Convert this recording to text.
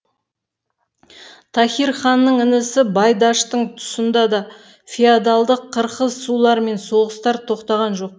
таһир ханның інісі байдаштың тұсында да феодалдық қырқысулар мен соғыстар тоқтаған жоқ